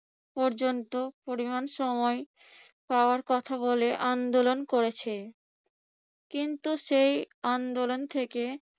পর্যন্ত পরিমাণ সময় পাওয়ার কথা বলে আন্দোলন করেছে। কিন্তু সেই আন্দোলন থেকে